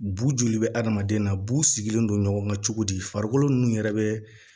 Bu joli bɛ adamaden na bu sigilen don ɲɔgɔn na cogo di farikolo ninnu yɛrɛ bɛ